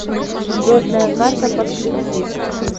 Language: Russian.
звездная карта подключи